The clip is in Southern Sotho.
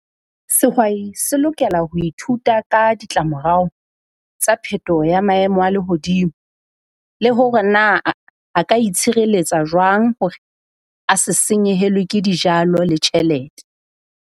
Sehwai se lokela ho ithuta ka ditlamorao tsa phetoho ya maemo a lehodimo, le hore na a ka itshireletsa jwang hore a se senyehelwe ke dijalo le tjhelete.